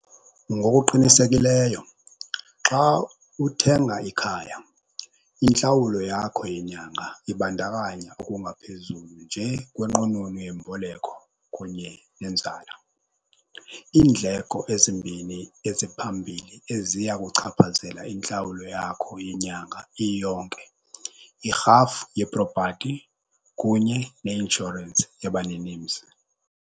Ngokuqinisekileyo xa uthenga ikhaya intlawulo yakho yenyanga ibandakanya okungaphezulu nje kwenqununu yemboleko kunye nenzala. Iindleko ezimbini eziphambili eziya kuchaphazela intlawulo yakho yenyanga iyonke yirhafu yepropati kunye neinshorensi yabaninimzi.